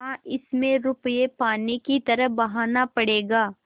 हाँ इसमें रुपये पानी की तरह बहाना पड़ेगा